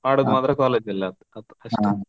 ಆಡೋದ್ ಮಾತ್ರ college ಆಯ್ತು ಅಷ್ಟೇ.